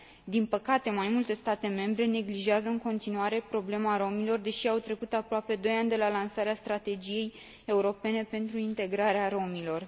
Din păcate, mai multe state membre neglijează în continuare problema romilor, deși au trecut aproape doi ani de la lansarea Strategiei europene pentru integrarea romilor.